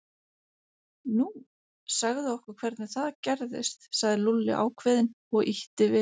Nú, segðu okkur hvernig það gerðist sagði Lúlli ákveðinn og ýtti við